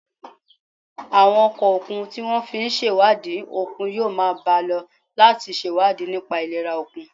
Àwọn ọkọ̀ òkun tí wọ́n fi ń ṣèwádìí òkun yóò máa bá a lọ láti ṣèwádìí nípa ìlera òkun